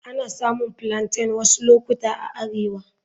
Ana samun Plaintain wasu lokuta a arewa.